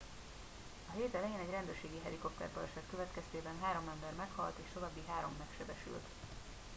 a hét elején egy rendőrségi helikopterbaleset következtében három ember meghalt és további három megsebesült